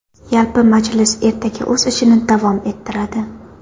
Yalpi majlis ertaga o‘z ishini davom ettiradi.